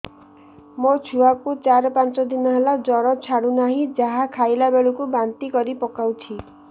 ମୋ ଛୁଆ କୁ ଚାର ପାଞ୍ଚ ଦିନ ହେଲା ଜର ଛାଡୁ ନାହିଁ ଯାହା ଖାଇଲା ବେଳକୁ ବାନ୍ତି କରି ପକଉଛି